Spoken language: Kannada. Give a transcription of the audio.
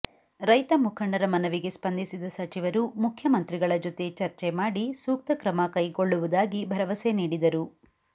ರೈತ ಮುಖಂಡರ ಮನವಿಗೆ ಸ್ಪಂಧಿಸಿದ ಸಚಿವರು ಮುಖ್ಯಮಂತ್ರಿಗಳ ಜೊತೆ ಚರ್ಚೆ ಮಾಡಿ ಸೂಕ್ತ ಕ್ರಮ ಕೈಕೊಳ್ಳುವುದಾಗಿ ಭರವಸೆ ನೀಡಿದರು